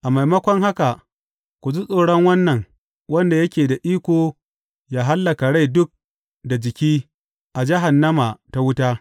A maimakon haka, ku ji tsoron Wannan wanda yake da iko yă hallaka rai duk da jiki a jahannama ta wuta.